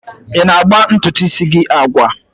Ị na-agba ntutu isi gị agwa?